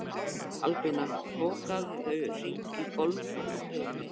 Albína, bókaðu hring í golf á þriðjudaginn.